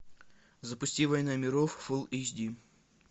запусти война миров фул эйч ди